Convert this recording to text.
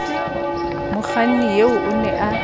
mokganni eo o ne a